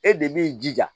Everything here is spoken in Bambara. E de b'i jija